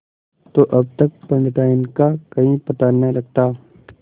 तो अब तक पंडिताइन का कहीं पता न लगता